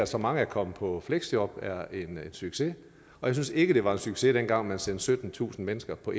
så mange er kommet på fleksjob er en succes og jeg synes ikke det var en succes dengang man sendte syttentusind mennesker på